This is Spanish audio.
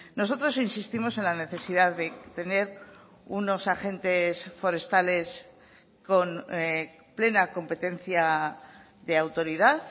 nosotros insistimos en la necesidad de tener unos agentes forestales con plena competencia de autoridad